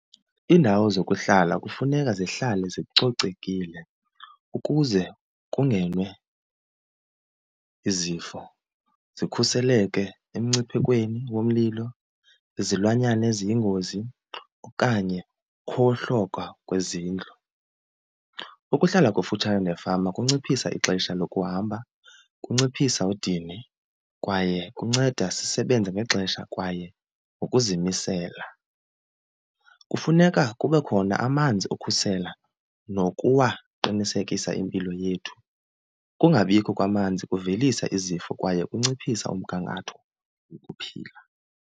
Iindawo zokuhlala kufuneka zihlale zicocekile ukuze kungene izifo zikhuseleke emngciphekweni womlilo, izilwanyana eziyingozi okanye ukhohloka kwezindlu. Ukuhlala kufutshane nefama kunciphisa ixesha lokuhamba, kunciphisa udini, kwaye kunceda sisebenza ngexesha kwaye ngokuzimisela. Kufuneka kube khona amanzi okhusela nokuwaqinisekisa impilo yethu. Ukungabikho kwamanzi kuvelisa izifo kwaye kunciphisa umgangatho wokuphila.